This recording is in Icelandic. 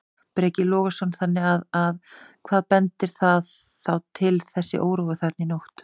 Breki Logason: Þannig að, að hvað bendir það þá til þessi órói þarna í nótt?